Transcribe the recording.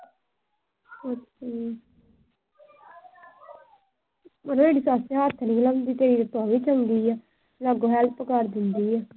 ਮੇਰੀ ਸੱਸ ਤਾਂ ਹੱਥ ਨੀ ਲਾਉਂਦੀ ਤੇ ਤੇਰੀ ਵਾਲੀ ਚੰਗੀ ਏ। ਨਾਲ help ਕਰ ਦਿੰਦੀ ਆ।